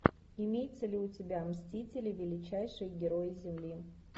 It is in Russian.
имеется ли у тебя мстители величайшие герои земли